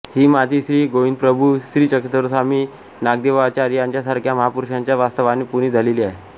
ही माती श्री गोविंदप्रभू श्री चक्रधर स्वामी श्री नागदेवाचार्य यांच्यासारख्या महापुरुषांच्या वास्तवाने पुनित झालेली आहे